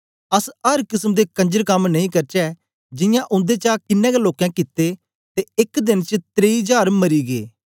अस अर किसम दे कंजर कम नेई करचै जियां उन्देचा कन्ने गै लोकें कित्ते ते एक देन च त्रेइ जार मरी गै